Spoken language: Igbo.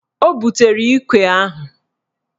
O butere ikwe ahụ.